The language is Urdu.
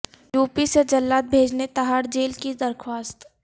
یو پی سے جلاد بھیجنے تہاڑ جیل کی درخواست